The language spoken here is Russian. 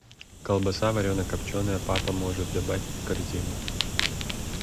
колбаса варено копченая папа может добавь в корзину